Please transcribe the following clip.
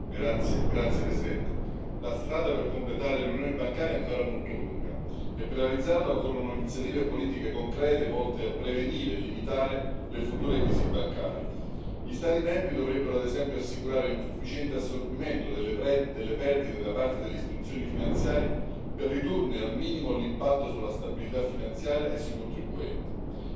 Signora Presidente, onorevoli colleghi, la strada per completare l'Unione bancaria è ancora molto lunga e per realizzarla occorrono iniziative politiche concrete, volte a prevenire e limitare le future crisi bancarie. Gli Stati membri dovrebbero, ad esempio, assicurare un sufficiente assorbimento delle perdite da parte delle istituzioni finanziarie, per ridurne al minimo l'impatto sulla stabilità finanziaria e sui contribuenti.